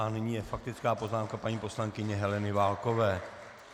A nyní je faktická poznámka paní poslankyně Heleny Válkové.